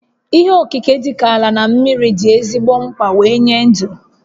Ihe okike dịka ala na mmiri dị ezigbo mkpa wee nye dụ